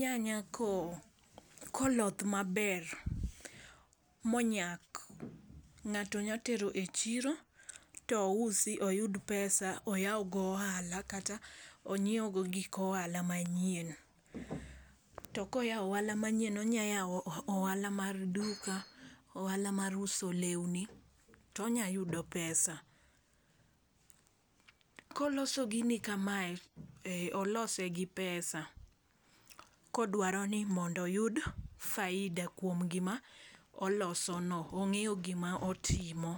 nyanya ko koloth maber monyak ng'ato nya tero echiro tousi oyud pesa oyaw go ohala kata onyiewgo gik ohala manyien . To koyawo ohala manyien onya yawo ohala mar duka, ohala mar uso lewni tonya yudo pesa . Koloso gini kamae olose gi pesa kodwaro ni mondo oyud faida kuom gima oloso no ong'eyo gima otimo.